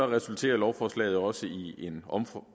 resulterer lovforslaget også i en